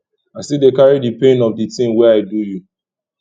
i still dey carry di pain of di tin wey i do you